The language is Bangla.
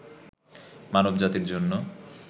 মানব জাতির জন্য